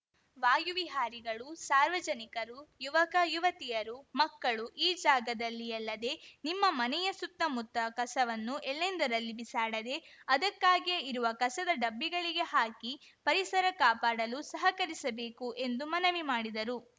ವಾಯು ವಿಹಾರಿಗಳು ಸಾರ್ವಜನಿಕರು ಯುವಕ ಯುವತಿಯರು ಮಕ್ಕಳು ಈ ಜಾಗದಲ್ಲಿಯಲ್ಲದೇ ನಿಮ್ಮ ಮನೆಯ ಸುತ್ತಮುತ್ತ ಕಸವನ್ನು ಎಲ್ಲೆಂದರಲ್ಲಿ ಬಿಸಾಡದೇ ಅದಕ್ಕಾಗಿಯೇ ಇರುವ ಕಸದ ಡಬ್ಬಿಗಳಿಗೆ ಹಾಕಿ ಪರಿಸರ ಕಾಪಾಡಲು ಸಹಕರಿಸಬೇಕು ಎಂದು ಮನವಿ ಮಾಡಿದರು